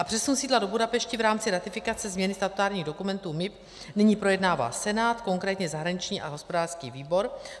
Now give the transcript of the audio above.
A přesun sídla do Budapešti v rámci ratifikace změny statutárních dokumentů MIB nyní projednává Senát, konkrétně zahraniční a hospodářský výbor.